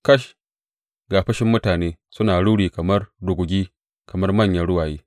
Kash, ga fushin mutane suna ruri kamar rugugi kamar manyan ruwaye!